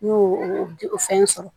N y'o o fɛn sɔrɔ